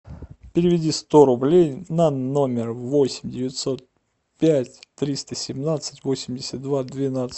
переведи сто рублей на номер восемь девятьсот пять триста семнадцать восемьдесят два двенадцать